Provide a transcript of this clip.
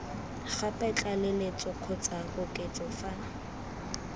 gape tlaleletso kgotsa koketso fa